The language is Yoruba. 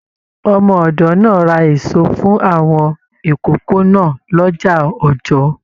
Ọmọ ọdọ náà rà èso fún àwọn ìkókó náà l'ọja Ọjọọ.